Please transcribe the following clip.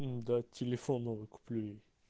нда телефон новый куплю ей